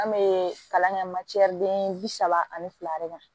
An bɛ kalan kɛ den bi saba ani fila de kan